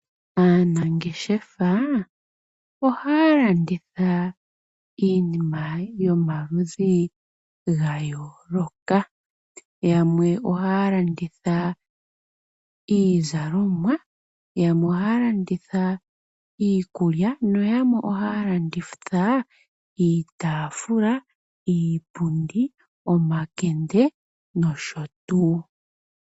Aanangeshefa oha ya landitha iinima yomaludhi ga yooloka. Yamwe oha ya landitha iizalomwa, yamwe oha ya landitha iikulya no yamwe oha ya landitha, iitafula, iipundi, omakende nosho tuu.